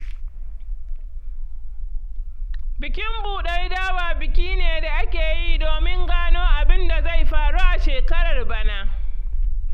Bikin buɗar dawa biki ne da ake yi domin gano abin da zai faru a shekarar bana.